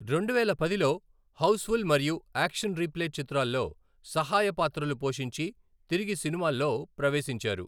రెండువేల పదిలో 'హౌస్ఫుల్' మరియు 'యాక్షన్ రీప్లే' చిత్రాల్లో సహాయ పాత్రలు పోషించి తిరిగి సినిమాల్లో ప్రవేశించారు.